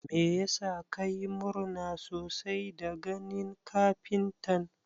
Meyasa ka yi murna sosai da ganin kafintan?